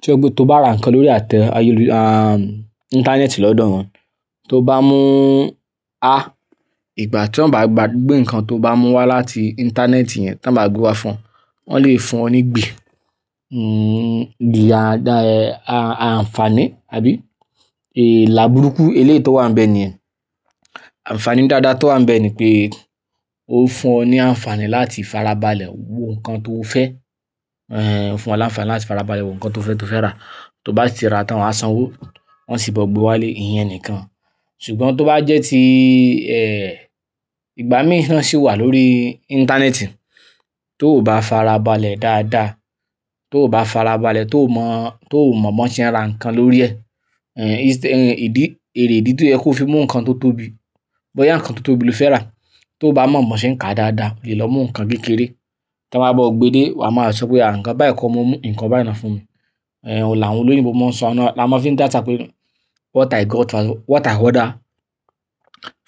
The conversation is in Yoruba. tí ẹgbẹ́ tó bá ra nǹkan lórí àtẹ ayélujàá, àhm ìntanẹ́ẹ̀tì lọ́dọ̀ wọ́n, tó bá mú, ah ìgbà tí wọ́n bá gbé nǹkan tó bá mú wá láti ìntanẹ́ẹ̀tì yẹn tí wọ́n bá gbé wá fún ọ, wọ́n lè fún ọ ní gbi, n n gbi ada, a àǹfààní àbí èélà burúkú. Eléyi tó wà níbẹ̀ nìyẹn. Àǹfààní dáadáa tó wà níbẹ̀ ni pé ó fún ọ ní àǹfààní láti farabalẹ̀ wo nǹkan tó fẹ́, eh ó fún ọ ní àǹfààní láti farabalẹ̀ wo nǹkan tó fẹ́ tó fẹ́ rà. Tó bá ti rà tán wà á sanwó, wọ́n sì gbọ́ gbé wá lé ìyẹn nìkan. Ṣùgbọ́n tó bá jẹ́ tí eh ìgbà mìíràn sì wà lórí ìntanẹ́ẹ̀tì tó ò bá farabalẹ̀ dáadáa, tó ò bá farabalẹ̀ tó mọ̀, tó mọ̀ bọ́n ṣe ń ra nǹkan lórí ẹ́. Eh is, eh ìdí, ère ìdí tí ẹ kó fi mú nǹkan tó tóbi, bóyá nǹkan tó tóbi lo fẹ́ rà tó bá mọ̀ mọ́n ṣe ń ka dáadáa, lè lọ mú nǹkan kékeré. Tí wọ́n bá gbé dé, wà á máa sọ pé àǹkọ̀ bá ẹ̀ kọ́, mo mú nǹkan bá i náà fún mi. Eh ò làwọn olóyìnbo máa ń sọ àná, làá máa fi dáta pé what i got fa, what i order